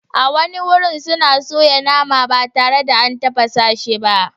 A wani wajen suna soya nama ba tare da an tafasa shi ba.